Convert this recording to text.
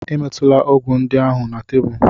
Emetula ọgwụ ndị ahụ na tebụl!